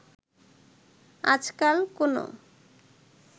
আজকাল কোনো